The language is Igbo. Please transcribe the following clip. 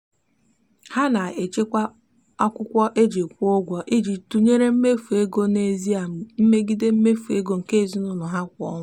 ha na-echekwa akwụkwọ e ji kwụ ụgwọ iji tụnyere mmefu ego n'ezie megide mmefu ego nke ezinụụlọ ha kwa ọnwa.